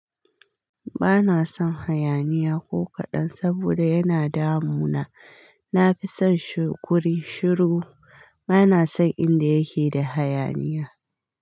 Ba na son hayaniya ko kaɗan saboda yana damu na. Na fi son shi kuri, shiru. Ba na son inda yake da hayaniya.